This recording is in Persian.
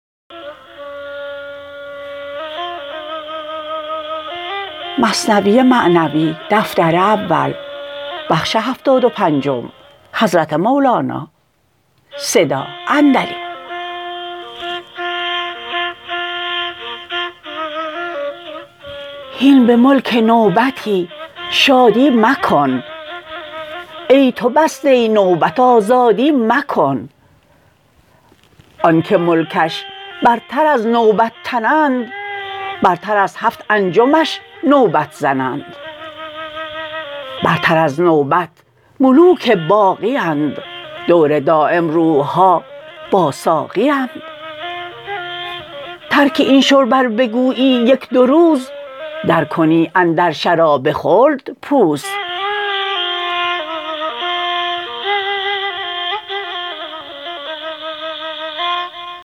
هین به ملک نوبتی شادی مکن ای تو بسته نوبت آزادی مکن آنک ملکش برتر از نوبت تنند برتر از هفت انجمش نوبت زنند برتر از نوبت ملوک باقیند دور دایم روحها با ساقیند ترک این شرب ار بگویی یک دو روز در کنی اندر شراب خلد پوز